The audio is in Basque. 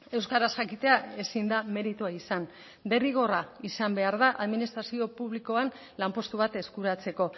euskaraz jakitea ezin da meritua izan derrigorra izan behar da administrazio publikoan lanpostu bat eskuratzeko